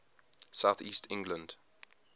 south east england